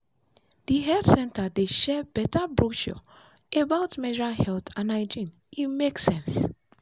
the health center dey share better brochure about menstrual health and hygiene—e make sense.